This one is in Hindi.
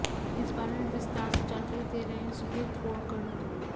इस बारे में विस्तार से जानकारी दे रहे हैं सुबीर गोकर्ण